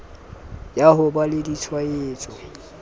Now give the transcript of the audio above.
ya ho ba le ditshwaetso